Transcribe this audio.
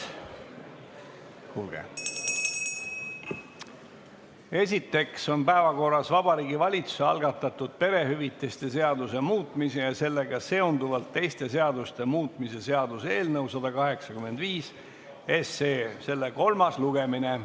Esiteks on päevakorras Vabariigi Valitsuse algatatud perehüvitiste seaduste muutmise ja sellega seonduvalt teiste seaduste muutmise seaduse eelnõu 185 kolmas lugemine.